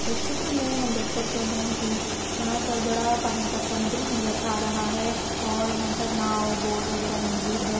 इस चित्र मे हम देख सकते है कि यहाँ पर बड़ा पानी का समुद्र नजर आ रहा है और यहाँ पर नाव बोट वगैरा मौजूद है।